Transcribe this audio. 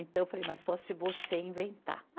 Então eu falei, mas só se você inventar.